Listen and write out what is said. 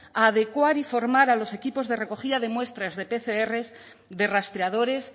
a adecuar y formar a los equipos de recogida de muestras de pcr de rastreadores